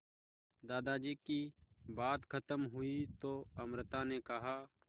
दादाजी की बात खत्म हुई तो अमृता ने कहा